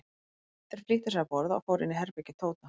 Þeir flýttu sér að borða og fóru inn í herbergi Tóta.